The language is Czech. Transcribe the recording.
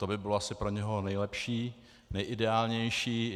To by bylo asi pro něho nejlepší, nejideálnější.